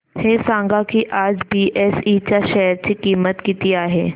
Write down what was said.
हे सांगा की आज बीएसई च्या शेअर ची किंमत किती आहे